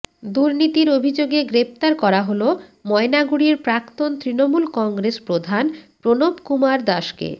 দূর্নীতির অভিযোগে গ্রেফতার করা হল ময়নাগুড়ির প্রাক্তন তৃণমূল কংগ্রেস প্রধান প্রণবকুমার দাসকে